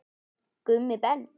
Gummi Ben.